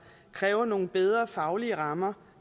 kræver nogle bedre faglige rammer